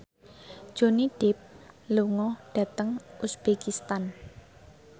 Johnny Depp lunga dhateng uzbekistan